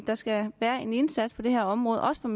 der skal være en indsats på det her område også fra